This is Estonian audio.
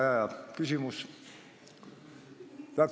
Väga hea küsimus.